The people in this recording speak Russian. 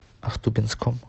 ахтубинском